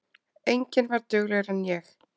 Enginn var duglegri en ég.